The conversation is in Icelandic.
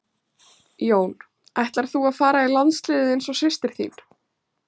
Jón: Ætlar þú að fara í landsliðið eins og systir þín?